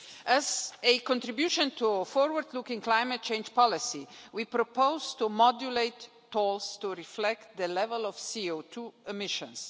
As a contribution to forward looking climate change policy, we propose to modulate tolls to reflect the level of CO2 emissions.